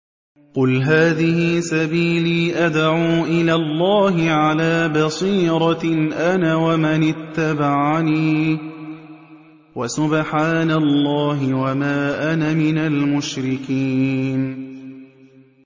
قُلْ هَٰذِهِ سَبِيلِي أَدْعُو إِلَى اللَّهِ ۚ عَلَىٰ بَصِيرَةٍ أَنَا وَمَنِ اتَّبَعَنِي ۖ وَسُبْحَانَ اللَّهِ وَمَا أَنَا مِنَ الْمُشْرِكِينَ